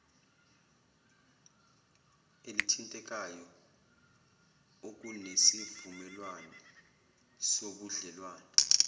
elithintekayo okunesivumelwane sobudlelwane